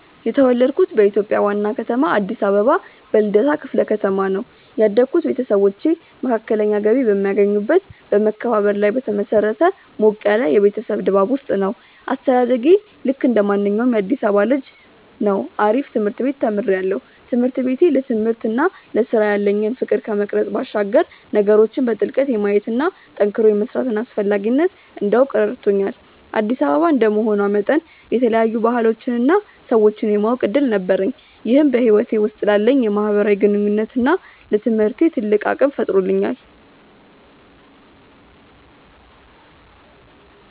የተወለድኩት በኢትዮጵያ ዋና ከተማ አዲስ አበባ በልደታ ክፍለ ከተማ ነው። ያደግኩት ቤተሰቦቼ መካከለኛ ገቢ በሚያገኙበት በመከባበርና ላይ በተመሰረተ ሞቅ ያለ የቤተሰብ ድባብ ውስጥ ነው። አስተዳደጌ ልክ እንደማንኛውም የአዲሳባ ልጅ ነው አሪፍ ትምርት ቤት ተምሪያለሁ። ትምህርት ቤቴ ለትምህርትና ለስራ ያለኝን ፍቅር ከመቅረጽ ባሻገር ነገሮችን በጥልቀት የማየትና ጠንክሮ የመስራትን አስፈላጊነት እንዳውቅ ረድቶኛል። አዲስ አበባ እንደመሆኗ መጠን የተለያዩ ባህሎችንና ሰዎችን የማወቅ እድል ነበረኝ ይህም በህይወቴ ውስጥ ላለኝ የማህበራዊ ግንኙነትና ለትምህርቴ ትልቅ አቅም ፈጥሮልኛል።